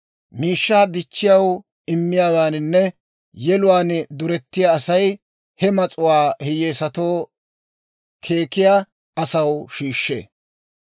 Miishshaa dichchaw immiyaawaaninne yeluwaan durettiyaa Asay he mas'uwaa hiyyeesatoo keekkiyaa asaw shiishshee.